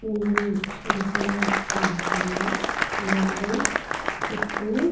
సుర సుర చేస్తున్నారు చుట్టూ --